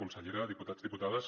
consellera diputats diputades